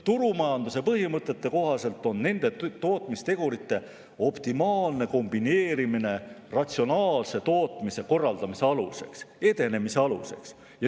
Turumajanduse põhimõtete kohaselt on nende tootmistegurite optimaalne kombineerimine ratsionaalse tootmise korraldamise, edenemise aluseks.